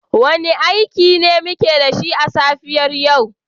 Wane aiki ne muke da shi a safiyar yau?